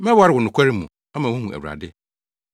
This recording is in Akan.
Mɛware wo nokware mu, ama woahu Awurade.